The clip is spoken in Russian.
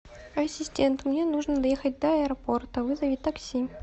ассистент мне нужно доехать до аэропорта вызови такси